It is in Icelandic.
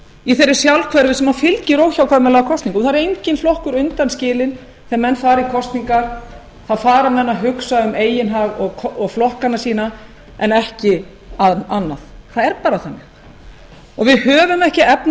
í þeirri sjálfhverfu sem fylgir óhjákvæmilegum kosningum það er enginn flokkur undanskilinn þegar menn fara í kosningar fara menn að hugsa um eigin hag og flokkana sína en ekki annað það er bara þannig og við höfum ekki efni